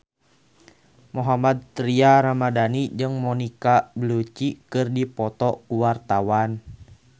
Mohammad Tria Ramadhani jeung Monica Belluci keur dipoto ku wartawan